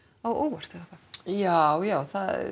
á óvart eða hvað já já